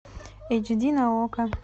эйч ди на окко